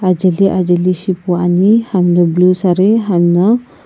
ajaeli ajajeli shipuane hamna sari blue sare hamna.